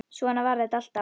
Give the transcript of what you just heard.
Svona var þetta alltaf.